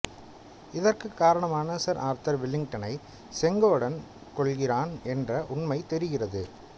இதற்கு காரணமான sir Arthur வில்லிங்டனை செங்கோடன் கொல்கிறான் என்ற உண்மை தெரிகிறது